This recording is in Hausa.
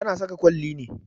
Ta na saka kwalli ne